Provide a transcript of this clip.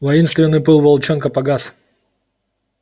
воинственный пыл волчонка погас